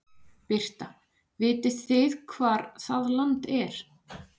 Birta: Vitið þið hvar það land er?